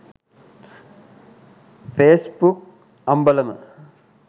facebook ambalama